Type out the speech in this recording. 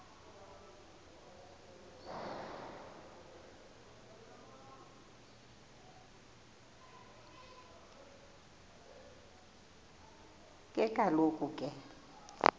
ke kaloku ke